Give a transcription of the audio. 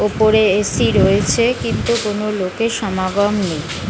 ওপরে A C রয়েছে কিন্তু কোনো লোক এর সমাগম নেই।